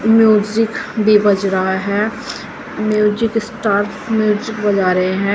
Music भी बज रहा है म्यूजिक स्टार म्यूजिक बजा रहे हैं।